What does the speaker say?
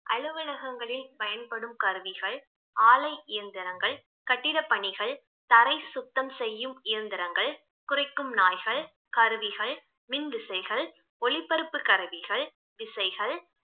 அலுவலகங்களில் பயன்படும் கருவிகள், ஆலை இயந்திரங்கள், கட்டிட பணிகள், தரை சுத்தம் செய்யும் இயந்திரங்கள், குறைக்கும் நாய்கள், கருவிகள், மின்விசைகள், ஒளிபரப்பு கருவிகள், விசைகள்